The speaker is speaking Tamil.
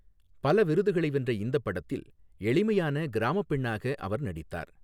பல விருதுகளை வென்ற இந்தப் படத்தில் எளிமையான கிராமப் பெண்ணாக அவர் நடித்தார்.